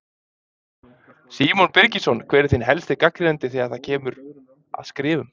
Símon Birgisson: Hver er þinn helsti gagnrýnandi þegar að kemur að skrifum?